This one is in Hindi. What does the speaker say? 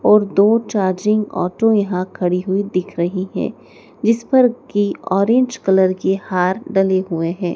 और दो चार्जिंग ऑटो यहाँ खड़ी हुई दिख रही है जिस पर की ऑरेंज कलर के हार डाले हुए हैं।